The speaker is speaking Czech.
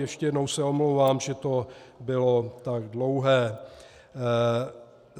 Ještě jednou se omlouvám, že to bylo tak dlouhé.